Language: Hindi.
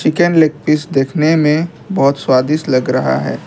लेग पीस देखने में बहुत स्वादिष्ट लग रहा है।